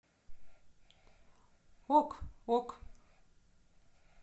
ок ок